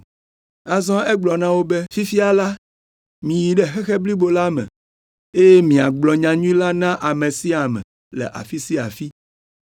Azɔ egblɔ na wo be, “Fifia la, miyi ɖe xexe blibo la me eye miagblɔ nyanyui la na ame sia ame le afi sia afi.